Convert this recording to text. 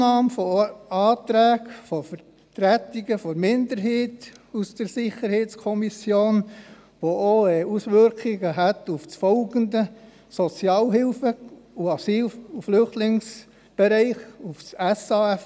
Die Annahme von Anträgen der Vertretung der SiK-Minderheit hat auch Auswirkungen auf das folgende Geschäft, das SAFG.